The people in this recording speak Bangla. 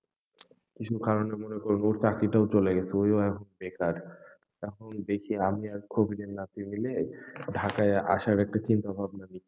কিছু কারণে মনে করবো ওর চাকরিটাও চলে গেছে, ওই ও এখন বেকার এখন দেখি আমি আর কবিরের নাতি মিলে ঢাকায় আসার একটা চিন্তা ভাবনা নি,